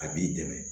A b'i dɛmɛ